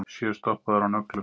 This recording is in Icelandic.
Sjö stoppaðir á nöglum